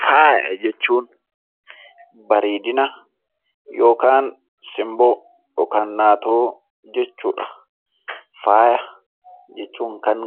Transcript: Faaya jechuun bareedina yookaan simboo yookaan naatoo jechuudha. Faaya jechuun kan